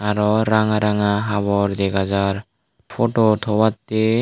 aro ranga ranga habor dega jaar photo tobattey.